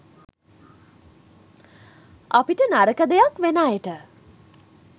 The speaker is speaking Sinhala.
අපිට නරක දෙයක් වෙන අයට